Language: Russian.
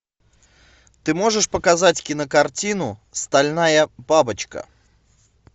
ты можешь показать кинокартину стальная бабочка